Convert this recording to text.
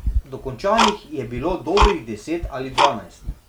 Dokončanih je bilo dobrih deset ali dvanajst.